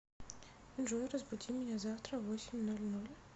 джой разбуди меня завтра в восемь ноль ноль